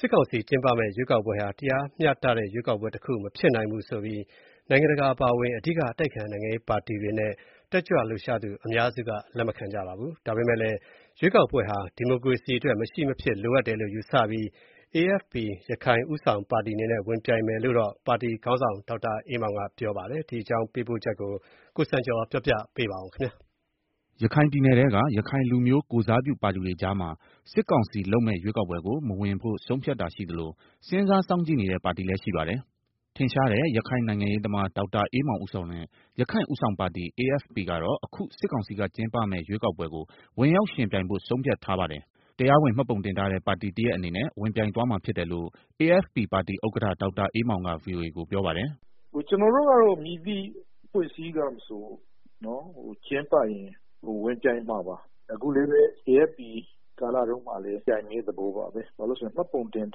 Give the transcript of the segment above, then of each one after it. စ်ကောင်စီ ကျင်းပမယ့်ရွေးကောက်ပွဲဟာ တရားမျှတတဲ့ ရွေးကောက်ပွဲတခုမဖြစ်နိုင်ဘူးဆိုပြီး နိုင်ငံတကာအပါအဝင် အဓိက အတိုက်အခံနိုင်ငံရေးပါတီတွေနဲ့ တက်ကြွလှုပ်ရှားသူအများစုက လက်မခံကြပါဘူး။ ဒါပေမယ့်လည်း ရွေးကောက်ပွဲဟာ ဒီမိုကရေစီအတွက် မရှိမဖြစ်လိုအပ်တယ်လို့ယူဆပြီး AFP ရခိုင်ဦးဆောင်ပါတီအနေနဲ့ ဝင်ပြိုင်မယ်လို့ ပါတီခေါင်းဆောင် ဒေါက်တာအေးမောင်က ပြောပါတယ်။ ဒီအကြောင်း သတင်းပေးပို့ချက်ကို ကိုစံကျော်က ပြောပြပါမယ်။ ရခိုင်ပြည်နယ်ထဲက ရခိုင်လူမျိုးကိုယ်စားပြုပါတီတွေကြားမှာ စစ်ကောင်စီလုပ်မယ့် ရွေးကောက်ပွဲကို မဝင်ဖို့ ဆုံးဖြတ်တာရှိသလို၊ စဉ်းစားစောင့်ကြည့်နေတဲ့ ပါတီလည်းရှိပါတယ်။ ထင်ရှားတဲ့ ရခိုင်နိုင်ငံရေးသမား ဒေါက်တာအေးမောင်ဦးဆောင်တဲ့ ရခိုင့်ဦးဆောင်ပါတီ AFP ကတော့ အခု စစ်ကောင်စီက ကျင်းပမယ့် ရွေးကောက်ပွဲကိုဝင်ရောက်ယှဉ်ပြိုင်ဖို့ ဆုံးဖြတ်ထားပါတယ်။ တရားဝင် မှတ်ပုံတင်ထားတဲ့ ပါတီတရပ်အနေနဲ့ ဝင်ပြိုင်သွားမှာဖြစ်တယ်လို့ AFP ပါတီဥက္ကဌ ဒေါက်တာအေးမောင်က ဗွီအိုအေကို ပြောပါတယ်။ “ကျနော်တို့ကတော့ မည်သည့်အဖွဲ့အစည်းကမဆိုကျင်းပရင်ဝင်ပြိုင်မှာပါ။ အခု AFPကာလ မှာလည်းပြိုင်မယ့်သဘောပါပဲ၊ ဘာလို့ဆိုတော့ မှတ်ပုံတင်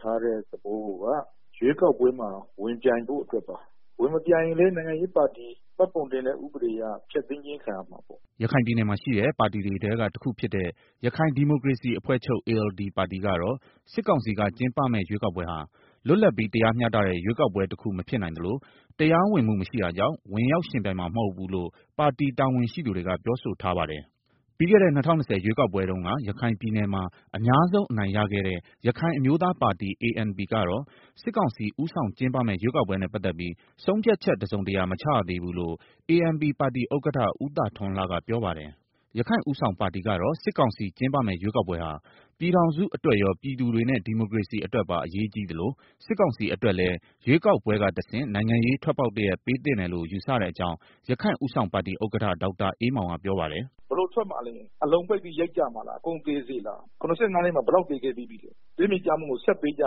ထားတဲ့ သဘောကိုက ရွေးကောက်ပွဲမှာ ဝင်ပြိုင်ဖို့အတွက်ပါ၊ ဝင်မပြိုင်ရင်လည်း နိုင်ငံရေးပါတီ မှတ်ပုံတင်ရေး ဥပဒေအရ ဖျက်သိမ်းတာခံရမှာပေါ့။” ရခိုင်ပြည်နယ်မှာရှိတဲ့ ပါတီတွေထဲကတခုဖြစ်တဲ့ ရခိုင်ဒီမိုကရေစီအဖွဲ့ချုပ် ပါတီကတော့ စစ်ကောင်စီက ကျင်းပမယ့်ရွေးကောက်ပွဲဟာ လွတ်လပ်ပြီးတရားမျှတတဲ့ ရွေးကောက်ပွဲတခုမဖြစ်နိုင်သလို တရားဝင်မှု မရှိတာကြောင့် ဝင်ရောက်ယှဉ်ပြိုင်မှာမဟုတ်ဘူးလို့ ပါတီတာဝန်ရှိသူတွေက ပြောဆိုထားပါတယ်။ ပြီးခဲ့တဲ့ ၂၀၂၀ ရွေးကောက်ပွဲတုန်းက ရခိုင်ပြည်နယ်မှာ အများဆုံးအနိုင်ရခဲ့တဲ့ ရခိုင်အမျိုးသားပါတီ ကတော့ စစ်ကောင်စီ ဦးဆောင်ကျင်းပမယ့် ရွေးကောက်ပွဲနဲ့ ပတ်သက်ပြီး ဆုံးဖြတ်ချက်တစုံတရာမချရသေးဘူးလို့ ANP ပါတီဥက္ကဋ္ဌ ဦးသာထွန်းလှက ပြောဆိုထားပါတယ်။ ရခိုင့်ဦးဆောင်ပါတီကတော့ စစ်ကောင်စီကျင်းပမယ့်ရွေးကောက်ပွဲဟာ ပြည်ထောင်စုအတွက်ရော ပြည်သူတွေနဲ့ ဒီမိုကရေစီအတွက်ပါအရေးကြီးသလို၊ စစ်ကောင်စီအတွက်လည်း ရွေးကောက်ပွဲကတဆင့် နိုင်ငံရေးထွက်ပေါက်တရပ်ပေးသင့်တယ်လို့ ယူဆတဲ့အကြောင်း ရခိုင့်ဦးဆောင်ပါတီဥက္ကဋ္ဌ ဒေါက်တာအေးမောင်က ပြောပါတယ်။ “ ဘယ်လိုထွက်မှာလဲ အလုံပိတ်ပြီး ရိုက်ကြမှာလား၊ အကုန်သေစေမှာလား ၇၅နှစ်မှာ ဘယ် လောက်သေခဲ့ပြီးပြီလဲ၊ သွေမြေကျမှုကို ဆက်ပေးကြ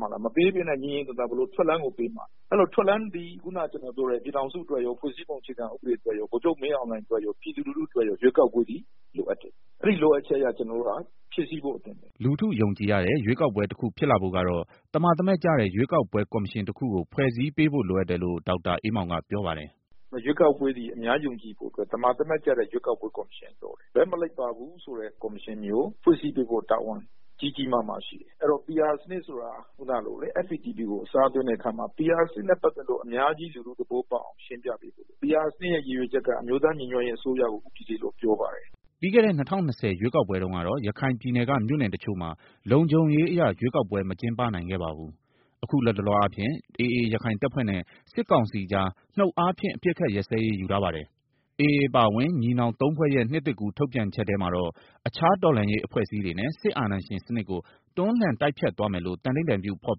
မှာလား၊ မပေးပဲနဲ့ ငြိမ်ငြိမ်သာသာ ဘယ်လိုထွက်လမ်းပေးမှာလဲ၊ အဲတော့ ထွက်လမ်းသည် ပြည်ထောင်စုအတွက်ရော ဖွဲ့စည်းပုံ အခြေဥပဒေအတွက်ရော ဗိုလ်ချုပ်မှူးကြီးမင်းအောင်လှိုင်အတွက်ရော ပြည်သူလူထု အတွက်ရော လိုအပ်တယ်၊ အဲဒီလိုအပ်ချက်ကို ကျနော်တို့က ဖြည့်စည်းဖို့အသင့်ပါပဲ” လူထုယူကြည်ရတဲ့ ရွေးကောက်ပွဲတခုဖြစ်လာဖို့ကတော့ သမာသမ ကျတဲ့ ရွေးကောက်ပွဲ ကော်မရှင်တခုကို ဖွဲ့စည်းပေးဖို့လိုအပ်တယ်လို့ ဒေါက်တာအေးမောင်က ပြောပါတယ်။ “ရွေးကောက်ပွဲက အများပြည်သူ ယုံကြည်ဖို့အတွက် သမာသမကျတဲ့ ရွေးကောက်ပွဲ ကော်မရှင်လိုတယ်၊ သမာသမကျတဲ့ ဘက်မလိုက်ပါဘူးဆိုတဲ့ ရွေးကောက်ပွဲ ကော်မရှင်ဖွဲ့ စည်းပေးဖို့တာဝန်ကြီးကြီးမားမားရှိတယ်။ ဆိုတော့ FPTP စနစ်ကနေ PR စနစ်ကို အစား ထိုးတယ်လို့ပြောတယ်။ PR စနစ်ကို အများပြည်သူသိအောင် ရှင်းပြဖို့လိုတယ်၊ PR စနစ် ရဲ့ ရည်ရွယ်ချက်က အမျိုးသားညီညွတ်ရေးအစိုးရကို ဦးတည်တယ်လို့ ပြောပါတယ်။ ပြီးခဲ့တဲ့ ၂၀၂၀ ရွေးကောက်ပွဲတုန်းကတော့ ရခိုင်ပြည်နယ်က တချို့မြို့နယ်တွေမှာ လုံခြုံရေးအရ ရွေးကောက်ပွဲ မကျင်းပနိုင်ခဲ့ပါဘူး။ အခု လတ်တလောအားဖြင့် AA ရခိုင်တပ်ဖွဲ့နဲ့ စစ်ကောင်စီကြား နှုတ်အားဖြင့် အပစ်အခတ်ရပ်စဲရေးယူထားပါတယ်။ AA အပါအဝင် ညီနောင်သုံးဖွဲ့ရဲ့ နှစ်သစ်ကူးထုတ်ပြန်ချက်ထဲမှာတော့ အခြား တော်လှန်ရေး အဖွဲ့အစည်းတွေနဲ့ စစ်အာဏာရှင်စနစ်ကို တွန်းလှန်တိုက်ဖျက်သွားမယ်လို့ သန္နိဌာန်ပြု ဖော်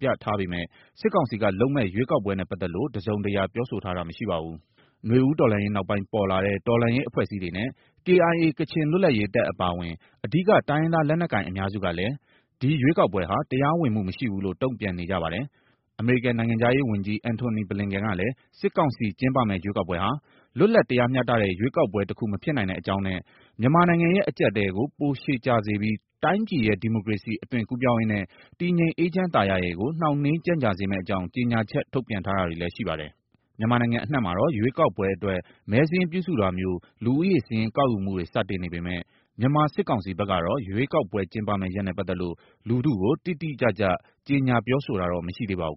ပြထားပေမဲ့ စစ်ကောင်စီကလုပ်မယ့် ရွေးကောက်ပွဲနဲ့ပတ်သက်လို့ တစုံတရာ ပြောဆိုထားတာမရှိပါဘူး။ နွေဦးတော်လှန်ရေးနောက်ပိုင်းပေါ်လာတဲ့ တော်လှန်ရေးအဖွဲ့အစည်းတွေနဲ့ KIA ကချင်လွတ်လပ်ရေးတပ်အပါအဝင် အဓိက တိုင်းရင်းသားလက်နက်ကိုင်အများစုကလည်း ဒီရွေးကောက်ပွဲဟာ တရားဝင်မှုမရှိဘူးလို့ တုံ့ပြန်နေကြပါတယ်။ အမေရိကန်နိုင်ငံခြားရေးဝန်ကြီး အန်တိုနီဘလင်ကန် ကလည်း စစ်ကောင်စီကျင်းပမယ့် ရွေးကောက်ပွဲဟာ လွတ်လပ်တရားမျှတတဲ့ ရွေးကောက်ပွဲ တခုမဖြစ်နိုင်တဲ့ အကြောင်းနဲ့ မြန်မာနိုင်ငံရဲ့အကြပ်အတည်းကို ပိုရှည်ကြာစေပြီး တိုင်းပြည်ရဲ့ ဒီမိုကရေစီ အသွင်ကူးပြောင်းရေးနဲ့ တည်ငြိမ်အေးချမ်းသာယာရေးကို နှောင့်နှေးကြန့်ကြာ စေမယ့်အကြောင်း ကြောညာချက်ထုတ်ပြန်ထားတာတွေလည်းရှိပါတယ်။ မြန်မာနိုင်ငံအနှံမှာတော့ ရွေးကောက်ပွဲအတွက် မဲစာရင်းပြုစုတာမျိုး လူဦးရေစာရင်းကောက်ယူမှုတွေစတင်နေပေမယ့်၊ မြန်မာစစ်ကောင်စီဘက်ကတော့ ရွေးကောက်ပွဲကျင်းပမယ့် ရက်နဲ့ပတ်သက်လို့ လူထုကို တိတိကျကျ ကြေညာပြောဆိုတာတော့ မရှိသေးပါဘူး